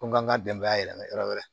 Ko n k'an ka denbaya yɛlɛma yɔrɔ wɛrɛ